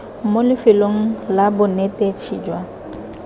mo lefelong la bonetetshi jwa